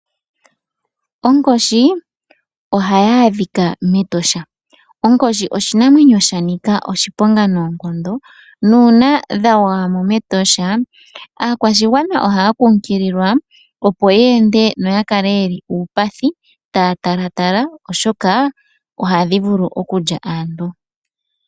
Onkoshi ohayi adhika mEtosha. Onkoshi oshinamwenyo shanika oshiponga noonkondo, nuuna dha gwaya mo mEtosha, aakwashigwana ohaya kunkililwa opo ye ende noya kale ye li uupathi, taya talatala, oshoka onkoshi ohadhi vulu okulya aantu.